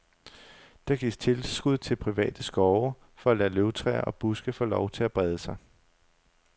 Der gives tilskud til private skove for at lade løvtræer og buske få lov til at brede sig.